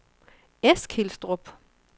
Eskilstrup